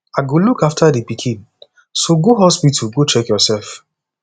i go look after the pikin so go hospital go check yourself